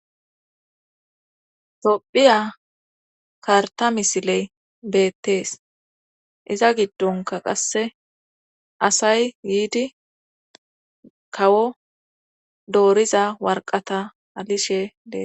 tophiya karta misiley beettees iza giddonka qasse asay yidi kawo dooriza warqata alishe dees